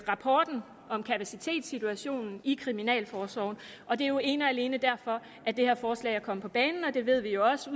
rapporten om kapacitetssituationen i kriminalforsorgen og det er jo ene og alene derfor at det her forslag er kommet på banen det ved vi jo også